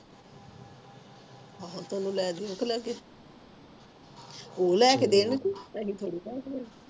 ਆਹੋ ਤੇ ਓਹਨੂੰ ਲੈਂਦੀ ਪਲਾਜ਼ੋ ਤੂੰ ਲਾਇ ਕ ਦੇਣੀ ਆਪਣੀ ਛੋਟੀ ਭੈਣ ਨੂੰ